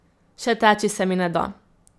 Še teči se mi ne da.